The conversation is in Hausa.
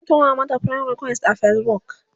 zan tura mata friend request a Facebook